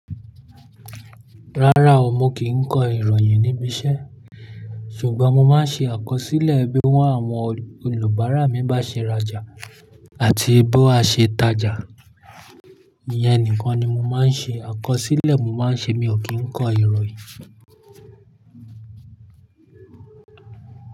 Rárá o, mo kì kọ ìròyìn níbi iṣẹ́, ṣùgbọ́n mo máa ń ṣe àkọsílẹ̀ bí wọ́n àwọn olùbáárà mi bá ṣe raja àti bí a ṣe tajà. Iyẹn nìkan ni mo máa ń ṣe, àkọsílẹ̀ mo máa ń ṣe, mi ò kí ń kọ ìròyìn.